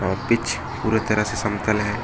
Pitch पूरा तरह से समतल है।